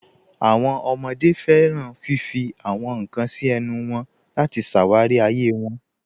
Àwọn ọmọde fẹ́ràn fífì àwọn nkan sí ẹ̀nù wọn láti ṣáwárí ayé wọn.